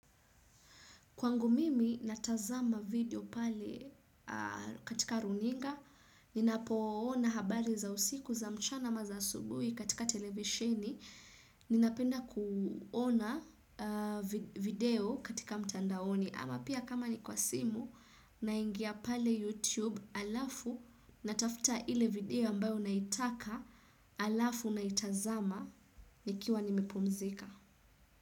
Kwangu mimi natazama video pale katika runinga, ninapoona habari za usiku za mchana ama za asubui katika televiseni, ninapenda kuona video katika mtandaoni ama pia kama ni kwa simu naingia pale YouTube alafu natafuta ile video ambayo unaitaka alafu unaitazama nikiwa nimepumzika.